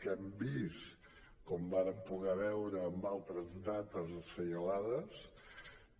que hem vist com vàrem poder veure en altres dates assenyalades